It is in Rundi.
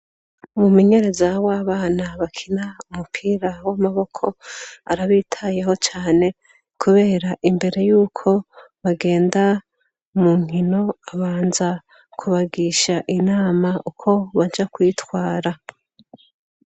Umumenyereza w’abana bakina umupira w'amaboko arabitayeho cane, kubera imbere yuko bagenda mu nkino abanza kubagisha inama uko baja kwitwara.